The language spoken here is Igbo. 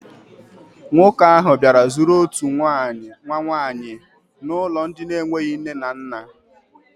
Nwoke ahụ bịara zụrụ otu nwa nwaanyị n'ụlọ ndị na-enweghi nne na nna.